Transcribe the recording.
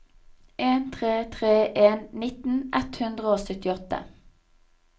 en tre tre en nitten ett hundre og syttiåtte